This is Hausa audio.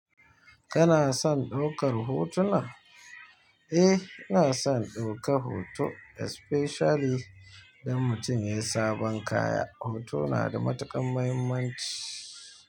Kana son ɗaukar hotuna? Eh, ina son ɗauka hoto especially idan mutum ya yi sabon kaya. Hoto na da matuƙar mahimmanci.